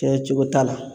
Kɛcogo t'a la